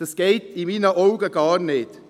Das geht in meinen Augen gar nicht.